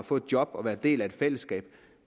få et job og være en del af et fællesskab